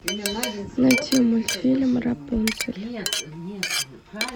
найти мультфильм рапунцель